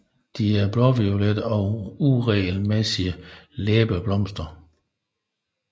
De er blåviolette og uregelmæssige læbeblomster